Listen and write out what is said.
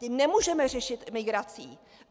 Ty nemůžeme řešit migrací.